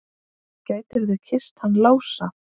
Gætirðu kysst hann Lása?